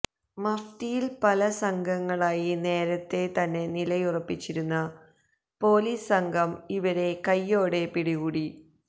മഫ്തിയില് പല സംഘങ്ങളായി നേരത്തേ തന്നെ നിലയുറപ്പിച്ചിരുന്ന പോലിസ് സംഘം ഇവരെ കയ്യോടെ പിടികൂടി